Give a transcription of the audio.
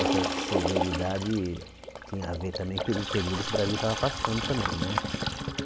Essa severidade tinha a ver também pelo período que o Brasil estava passando também, né?